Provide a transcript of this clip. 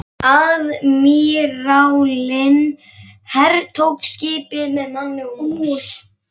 Aðmírállinn hertók skipið með manni og mús.